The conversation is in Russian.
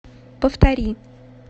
повтори